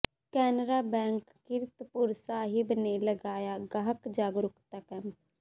Canara bank Kiratpur Sahib ਨੇ ਲਗਾਇਆ ਗਾਹਕ ਜਾਗਰੂਕਤਾ ਕੈਂਪ